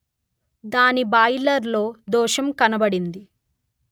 దాని బాయిలర్ లో దోషం కనబడింది